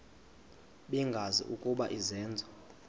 bengazi ukuba izenzo